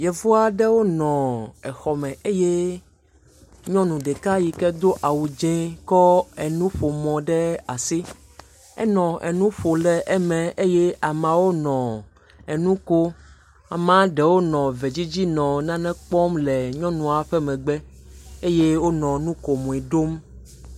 Yevu aɖe wo nɔ exɔ me eye nyɔnu ɖeka yi ke do awu dz0 kɔ enuƒomɔ ɖe asi, enɔ enu ƒo le eme eye ameawo le enuko, Amea ɖewo nɔ ve dzidzi nɔ nane kpɔ le nyɔnua ƒe megbe eye wonɔ nu ko mɔe ɖom.